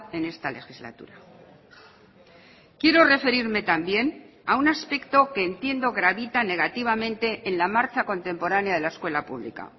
en esta legislatura quiero referirme también a un aspecto que entiendo gravita negativamente en la marcha contemporánea de la escuela pública